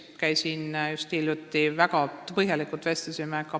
Ma käisin just hiljuti Pärnus, kus me väga põhjalikult vestlesime.